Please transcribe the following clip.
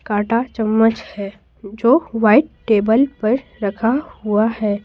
काटा चम्मच है जो वाइट टेबल पर रखा हुआ है।